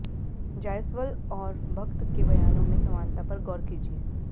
जायसवाल और भक्त के बयानों में समानता पर गौर कीजिए